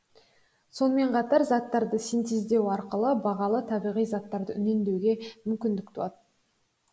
сонымен қатар заттарды синтездеу арқылы бағалы табиғи заттарды үнемдеуге мүмкіндік туады